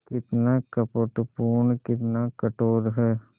कितना कपटपूर्ण कितना कठोर है